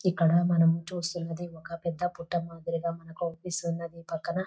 ఇక్కడ మనం చూస్తూ ఉన్నది ఒక పెద పొట్ట మాదిరిగా మనకే అనిపిస్తూ ఉన్నది. పక్కన --